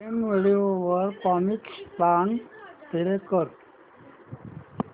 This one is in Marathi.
प्राईम व्हिडिओ वर कॉमिकस्तान प्ले कर